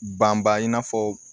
Banba in n'a fɔ